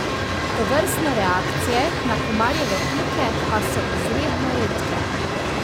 Tovrstne reakcije na komarjeve pike pa so izredno redke.